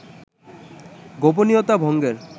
গোপনীয়তা ভঙ্গের